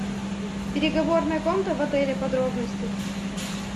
переговорная комната в отеле подробности